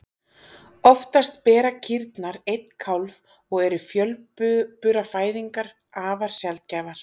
Oftast bera kýrnar einn kálf og eru fjölburafæðingar afar sjaldgæfar.